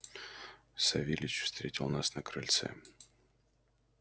савельич встретил нас на крыльце